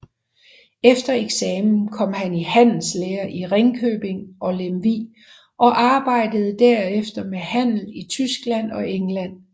Efter eksamen kom han i handelslære i Ringkøbing og Lemvig og arbejdede derefter ved handel i Tyskland og England